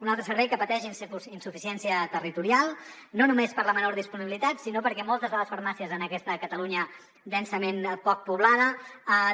un altre servei que pateix insuficiència territorial no només per la menor disponibilitat sinó perquè moltes de les farmàcies en aquesta catalunya poc poblada